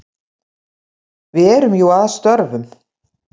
Við erum jú að störfum.